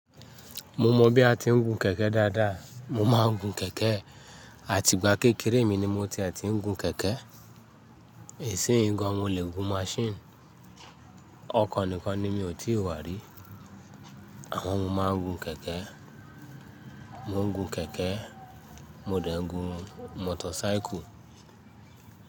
Mo mọ̀ bí a ti ń gun kẹ̀kẹ́ dáadáa. Mo máa ń gun kẹ̀kẹ́, àtìgbà kékeré mi ni mo ti ẹ tí ń gun kẹ̀kẹ́. Ìsìn yí gan, mo lè gun maṣíìnì. Ọkọ̀ nìkan ni mi ò tí wá rí. Àmọ́ mo máa ń gun kẹ̀kẹ́. Mo ń gun kẹ̀kẹ́, mo dẹ̀ ń gun motor cycle.